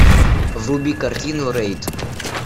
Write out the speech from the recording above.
вруби картину рейд